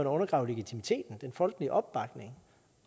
undergrave legitimiteten den folkelige opbakning